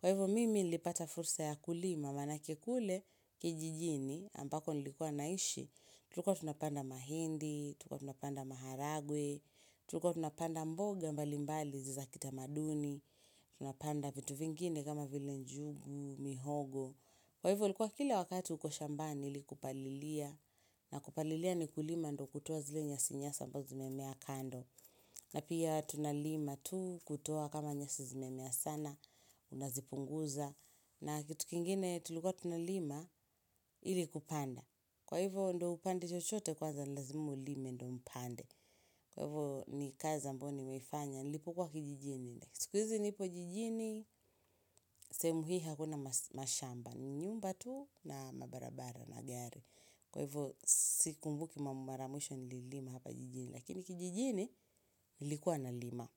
Kwa hivyo mimi nilipata fursa ya kulima manake kule kijijini ambako nilikua naishi. Tulikuwa tunapanda mahindi, tulikuwa tunapanda maharagwe, tulikuwa tunapanda mboga mbali mbali za kitamaduni, tunapanda vitu vingine kama vile njugu, mihogo. Kwa hivyo ilikuwa kila wakati uko shambani ili kupalilia na kupalilia ni kulima ndio kutoa zile nyasi nyasi ambazo zimemea kando na pia tunalima tu kutoa kama nyasi zimemea sana Unazipunguza na kitu kingine tulikuwa tunalima ili kupanda Kwa hivyo ndio upande chochote kwanza lazimu ulime ndio upande Kwa hivyo ni kazi ambayo nimeifanya nilipokuwa kijijini siku hizi nipo jijini, sehemu hii hakuna mashamba, ni nyumba tu, na mabarabara na gari. Kwa hivyo, sikumbuki mara ya mwisho nililima hapa jijini, lakini kijijini nilikuwa nalima.